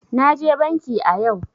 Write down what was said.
Naje banki a yau.